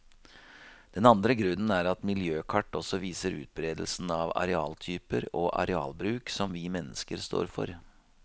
Den andre grunnen er at miljøkart også viser utberedelsen av arealtyper og arealbruk som vi mennesker står for.